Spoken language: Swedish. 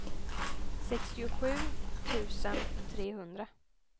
sextiosju tusen trehundra